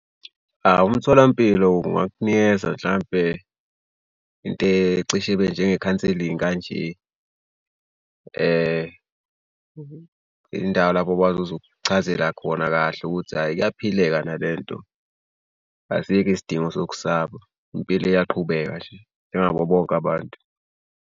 Awu umtholampilo ungakunikeza mhlampe into ecishe ibe njengekhanselingi kanje. Indawo lapho basazokuchazela khona kahle ukuthi hhayi kuyaphileka nale nto. Asikho isidingo sokusaba impilo iyaqhubeka nje njengabo bonke abantu.